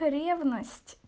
ревность